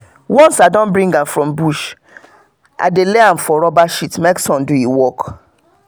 once i don bring am from bush i dey lay am for rubber sheet make sun do e work.